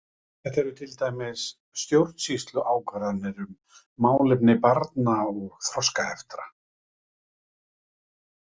Þetta eru til dæmis stjórnsýsluákvarðanir um málefni barna eða þroskaheftra.